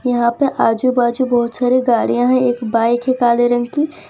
यहां पे आजू बाजू बहोत सारे गाड़ियां हैं एक बाइक है काले रंग की --